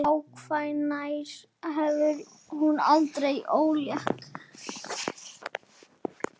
Hvenær hafði hún orðið ólétt?